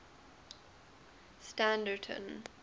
standerton